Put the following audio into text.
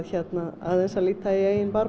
aðeins að líta í eigin barm